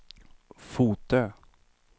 Fotö